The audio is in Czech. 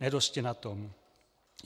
Nedosti na tom.